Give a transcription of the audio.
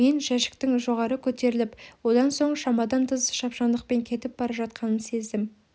мен жәшіктің жоғары көтеріліп одан соң шамадан тыс шапшаңдықпен кетіп бара жатқанын сездім